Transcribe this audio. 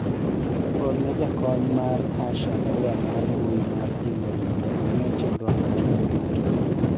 orne jakony mar Asha barua mar mbui mar email mondo ong'e chenro makiny duto